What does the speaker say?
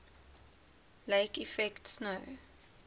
lake effect snow